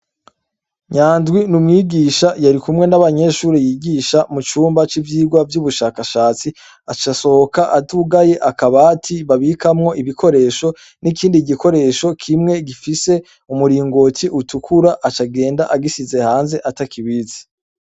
Nyandwi n'umwigisha yarikumwe n'abanyeshure yigisha mucumba cnivyirwa vy'ubushakashatsi, aca asohoka atugaye akabati babikamwo ibikoresho, n'ikindi bikoresho kimwe gifise umuringoti utukura aca agenda agisize hanze atakibitse.